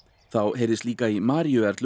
þá heyrðist líka í